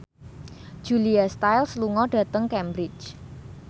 Julia Stiles lunga dhateng Cambridge